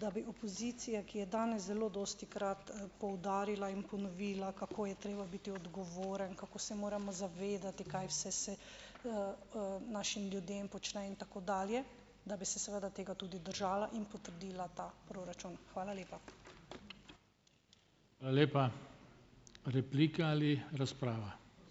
da bi opozicija, ki je danes zelo dostikrat, poudarila in ponovila, kako je treba biti odgovoren, kako se moramo zavedati, kaj vse se, našim ljudem počne in tako dalje, da bi se seveda tega tudi držala in potrdila ta proračun. Hvala lepa.